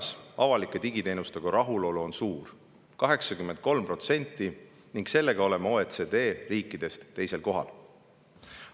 Rahulolu avalike digiteenustega on suur, 83%, selle näitajaga oleme OECD riikidest teisel kohal.